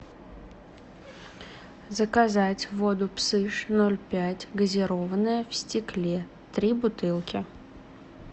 заказать воду псыж ноль пять газированная в стекле три бутылки